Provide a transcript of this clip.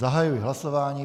Zahajuji hlasování.